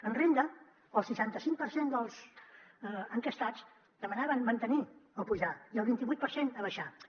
en renda el seixanta cinc per cent dels enquestats demanaven mantenir lo o apujar lo i el vint i vuit per cent abaixar lo